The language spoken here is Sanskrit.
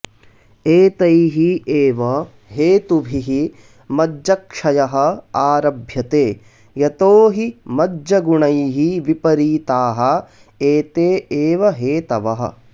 एतैः एव हेतुभिः मज्जक्षयः आरभ्यते यतो हि मज्जगुणैः विपरीताः एते एव हेतवः